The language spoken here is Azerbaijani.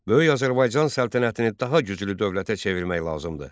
Böyük Azərbaycan səltənətini daha güclü dövlətə çevirmək lazımdır.